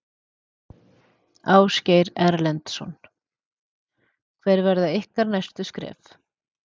Ásgeir Erlendsson: Hver verða ykkar næstu skref?